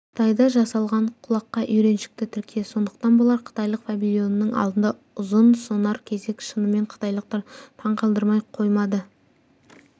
қытайда жасалған құлаққа үйреншікті тіркес сондықтан болар қытайлық павильонның алдында ұзын-сонар кезек шынымен қытайлықтар таңқалдырмай қоймады